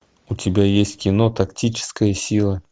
у тебя есть кино тактическая сила